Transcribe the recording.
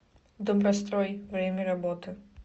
добрострой время работы